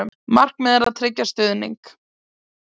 Markmiðið að tryggja stuðning